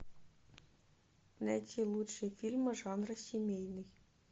найти лучшие фильмы жанра семейный